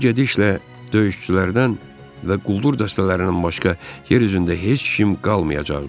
Bu gedişlə döyüşçülərdən və quldur dəstələrindən başqa yer üzündə heç kim qalmayacaqdı.